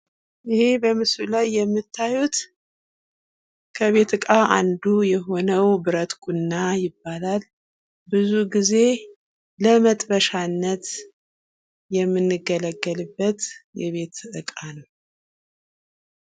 ይህ በምስሉ ላይ የምታዩት ከቤት እቃ አንዱ የሆነው ከብረት የተሰራ ነው። ብዙ ጊዜ የሚጠቅመን ለመጥበሻነት ነው።